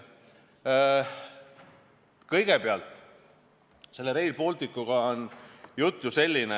Kõigepealt, Rail Balticuga on jutt ju selline.